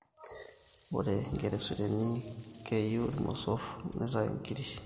ore enkeresure keyu irmosor nitayu inkirik